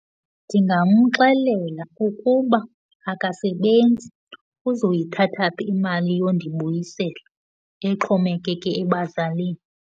Ndingamxelela ukuba akasebenzi. Uzoyithatha phi imali yondibuyisela exhomekeke ebazalini?